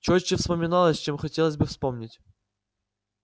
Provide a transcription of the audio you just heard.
чётче вспоминалось чем хотелось бы вспомнить